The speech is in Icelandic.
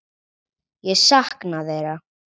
Ég sakna þeirra.